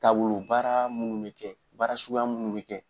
Taabolo baara minnu bɛ kɛ bara suguya minnu bɛ kɛ.